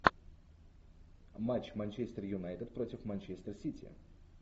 матч манчестер юнайтед против манчестер сити